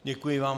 Děkuji vám.